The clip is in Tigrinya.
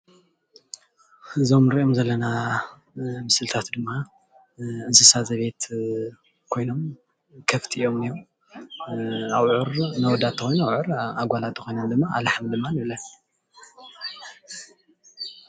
እዞም እንሪኦም ዘለና ምስልታት ድማ እንስሳ ዜቤት ኮይኖም ከፍቲ እዮም እንሄዉ፡፡ ኣውዕር ንኣወዳት እንተኮይኖም ኣውዑር ንኣጓላት እነተኮይነን ኣላሕም ንብለን፡፡